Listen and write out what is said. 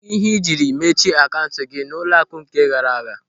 Kedụ ihe ị jiri mechie akaụntụ gị n'ụlọaku nke gaara aga?